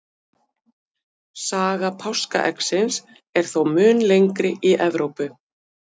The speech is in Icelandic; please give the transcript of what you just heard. Saga páskaeggsins er þó mun lengri í Evrópu.